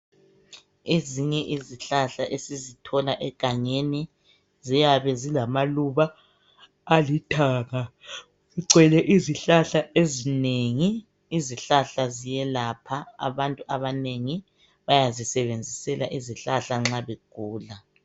Ezinye izihlahla esizithola egangeni ziyabe zilamaluba alithanga. ... gcwele izihlahla ezinengi. Izihlahla ziyelapha, abantu abanengi bayazisebenzisela izihlahla nxa begula.